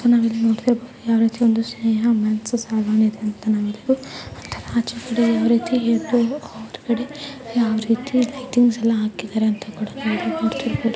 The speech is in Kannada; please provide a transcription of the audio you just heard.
'' ನಾವ್ ಇಲ್ಲಿ ನೋಡಬಹುದು ಯಾವರೀತಿ ಒಂದು ಸ್ನೇಹ ಮೆನ್ಸ್ ಸಲೂನ್ ನೋಡ್ತಿರಬಹುದು . ಅದರ ಆಚೆಗಡೆ ಯಾವರೀತಿ ಹೊರಗಡೆ ಯಾವರೀತಿ ಲೈಟಿಯಿಂಗ್ಸ್ ಎಲ್ಲ ಹಾಕಿದರೆ ಅಂತ ಕೂಡಾ ನೋಡಬಹುದು. ''